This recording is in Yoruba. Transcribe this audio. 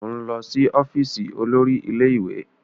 O n lọ si ọfiisi olórí ilé-ìwé!